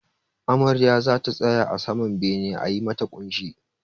Amarya zata tsaya a saman bene a yi mata ƙunshi